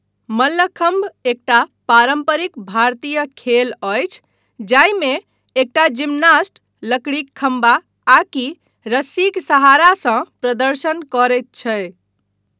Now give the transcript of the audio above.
मल्लखम्भ एकटा पारम्परिक भारतीय खेल अछि जाहिमे एकटा जिमनास्ट लकड़ीक खम्भा आकि रस्सीक सहारासँ प्रदर्शन करैत छै।